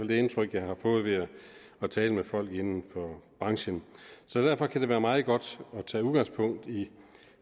det indtryk jeg har fået ved at tale med folk inden for branchen så derfor kan det være meget godt at tage udgangspunkt i